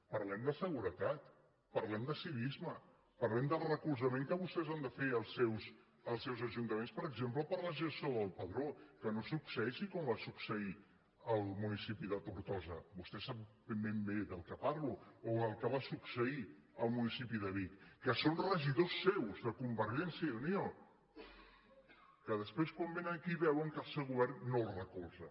parlem de seguretat parlem de civisme parlem del recolzament que vostès han de fer als seus ajuntaments per exemple per a la gestió del padró que no succeeixi com va succeir al municipi de tortosa vostè sap ben bé de què parlo o el que va succeir al municipi de vic que són regidors seus de convergència i unió que després quan vénen aquí veuen que el seu govern no els recolza